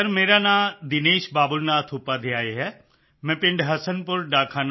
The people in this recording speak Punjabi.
ਸਰ ਮੇਰਾ ਨਾਂ ਦਿਨੇਸ਼ ਬਾਬੁਲ ਨਾਥ ਉਪਾਧਿਆਇ ਹੈ ਮੈਂ ਪਿੰਡ ਹਸਨਪੁਰ ਡਾਕ